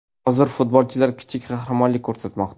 Hozir futbolchilar kichik qahramonlik ko‘rsatmoqda.